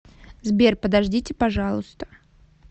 сбер подождите пожалуйста